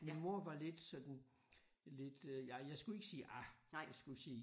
Min mor var lidt sådan lidt øh ja jeg skulle ikke sige ah jeg skulle sige